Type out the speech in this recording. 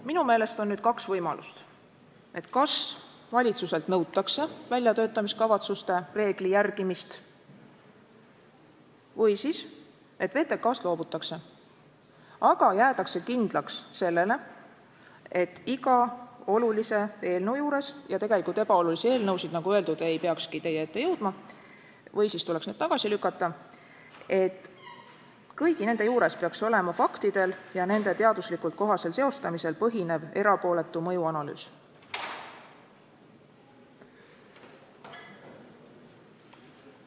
Minu meelest on nüüd kaks võimalust: kas valitsuselt nõutakse väljatöötamiskavatsuste reegli järgimist või siis, et VTK-st loobutakse, aga jäädakse kindlaks sellele, et iga olulise eelnõu juures – ja tegelikult ebaolulisi eelnõusid, nagu öeldud, ei tohikski teie ette jõuda või siis tuleks need tagasi lükata – peaks olema faktidel ja nende teaduslikult kohasel seostamisel põhinev erapooletu mõjuanalüüs.